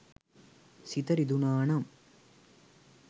සිත රිදුනා නම්.